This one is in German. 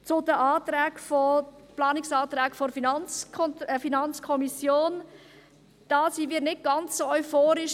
Zu den Planungserklärungen der FiKo: Da sind wir nicht ganz so euphorisch.